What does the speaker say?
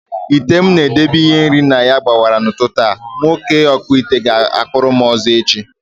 Ite m na edebe ihe nri na ya gbawara n'ụtụtụ a, nwoke ọkpụite ga akputaram ọzọ echi